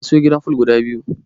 Ka siyowa gidan fol guda biyu.